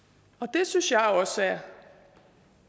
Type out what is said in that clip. det synes jeg også er